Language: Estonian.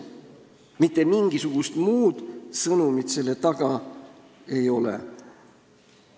Mitte mingisugust muud sõnumit selle taga ei ole.